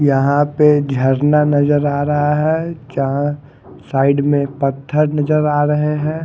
यहां पे झरना नजर आ रहा है जहां साइड में पत्थर नजर आ रहे हैं।